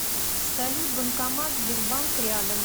салют банкомат сбербанк рядом